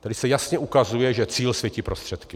Tady se jasně ukazuje, že cíl světí prostředky.